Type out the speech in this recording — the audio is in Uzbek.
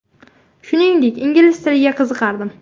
Shuningdek, ingliz tiliga qiziqardim.